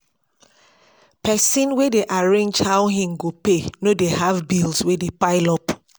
pesin wey dey arrange how im go pay no dey have bills wey dey pile up